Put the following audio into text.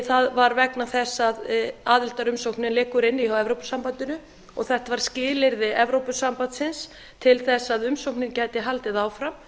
það var vegna þess að aðildarumsóknin liggur inni hjá evrópusambandinu og þetta var skilyrði evrópusambandsins til að umsóknin gæti haldið áfram